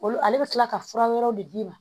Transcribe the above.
Olu ale bɛ tila ka fura wɛrɛw de d'i ma